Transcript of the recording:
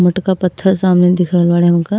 मोटका पत्थर सामने दिख रहल बाड़े हमका।